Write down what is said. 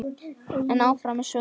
En áfram með söguna.